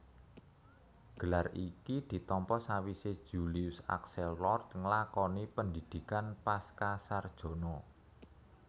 Gelar iki ditampa sawisé Julius Axelrod nglakoni pendhidhikan pascasarjana